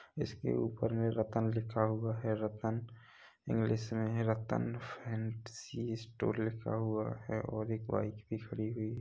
इसके ऊपर में रतन लिखा हुआ है रतन एन्ग्लिश मे रतन फैंसी स्टोर लिखा हुआ है और एक बाइक भी खड़ी हुई--